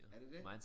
Er det det?